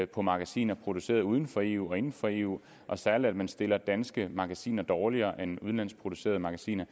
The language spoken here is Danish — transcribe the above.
på magasiner produceret uden for eu og inden for eu og særlig at man stiller danske magasiner dårligere end udenlandsk producerede magasiner